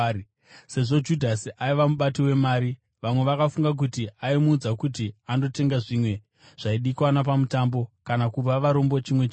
Sezvo Judhasi aiva mubati wemari, vamwe vakafunga kuti Jesu aimuudza kuti andotenga zvimwe zvaidikanwa pamutambo, kana kupa varombo chimwe chinhu.